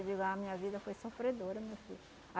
digo, a minha vida foi sofredora, meu filho.